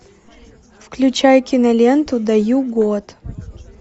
включай киноленту даю год